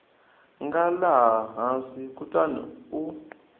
nga laha hansi kutani u